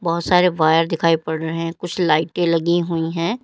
बहुत सारे वायर दिखाएं पड़ रहे कुछ लाइटे लगी हुई है।